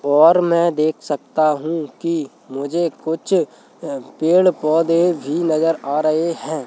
और मैं देख सकता हूं कि मुझे कुछ अ पेड़ पौधे भी नजर आ रहे हैं।